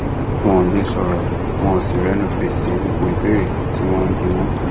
wọn ò lè sọrọ wọn ò sì rẹnu fèsì gbogbo ìbéèrè tí wọn ń bi wọn